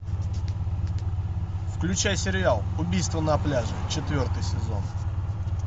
включай сериал убийство на пляже четвертый сезон